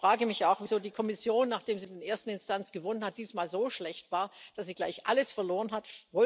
Ich frage mich auch, wieso die Kommission, nachdem sie in der ersten Instanz gewonnen hat, diesmal so schlecht war, dass sie gleich alles verloren hat.